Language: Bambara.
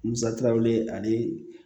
Musakaw wele ani